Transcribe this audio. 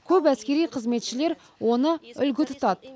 көп әскери қызметшілер оны үлгі тұтады